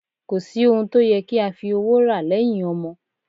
Kò sí ohun tó yẹ kí a fi owó rà lẹ́yìn ọmọ